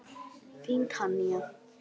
Þín Tanya.